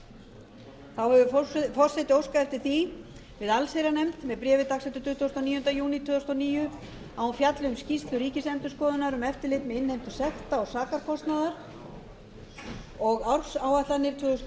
þá hefur forseti óskað eftir því við allsherjarnefnd með bréfi dagsettu tuttugasta og níunda júní tvö þúsund og níu að hún fjalli um skýrslu ríkisendurskoðunar um eftirlit með innheimtu sekta og sakarkostnaðar og ársáætlanir tvö þúsund og